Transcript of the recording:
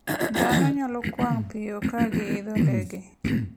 Dhano nyalo kwang' piyo ka giidho ndege.